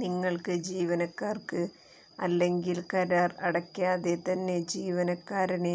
നിങ്ങൾക്ക് ജീവനക്കാർക്ക് അല്ലെങ്കിൽ കരാർ അടയ്ക്കാതെ തന്നെ ജീവനക്കാരനെ